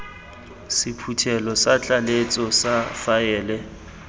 sephuthelo sa tlaleletso sa faele